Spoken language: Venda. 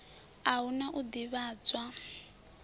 a hu na u ḓivhadzwa